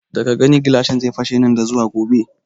Daga gani gilashin zai fashe nan da zuwa gobe